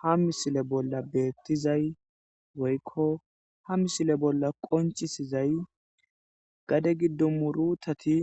Ha missile bolla bettizay woyko ha misile bolla qoncisizay gade gido murutati